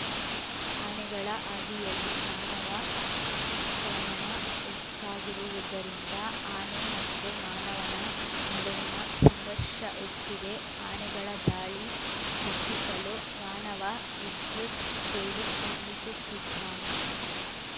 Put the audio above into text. ಆನೆಗಳ ಹಾದಿಯಲ್ಲಿ ಮಾನವ ಅತಿಕ್ರಮಣ ಹೆಚ್ಚಾಗಿರುವುದರಿಂದ ಆನೆ ಮತ್ತು ಮಾನವನ ನಡುವಿನ ಸಂಘರ್ಷ ಹೆಚ್ಚಿದೆ ಆನೆಗಳ ದಾಳಿ ತಪ್ಪಿಸಲು ಮಾನವ ವಿದ್ಯುತ್‌ ಬೇಲಿ ನಿರ್ಮಿಸುತ್ತಿದ್ದಾನೆ